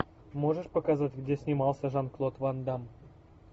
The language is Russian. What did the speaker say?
можешь показать где снимался жан клод ван дамм